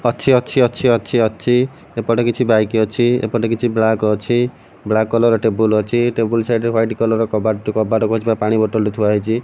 ଅଛି ଅଛି ଅଛି ଅଛି ଅଛି ଏପଟେ କିଛି ବାଇକ୍ ଅଛି ଏପଟେ କିଛି ବ୍ୟାଙ୍କ୍ ଅଛି ବ୍ଲାକ୍ କଲର୍ ଟେବୁଲ୍ ଅଛି ଟେବୁଲ୍ ସାଇଡ଼୍ ରେ ହ୍ୱାଇଟ୍ କଲର୍ ର କବାଟ କବାଟକୁ ଥିବା ପାଣି ବୋଟଲ୍ ଟେ ଥୁଆ ହେଇଚି।